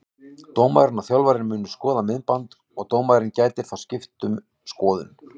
Dómarinn og þjálfarinn munu skoða myndband og dómarinn gæti þá skipt um skoðun.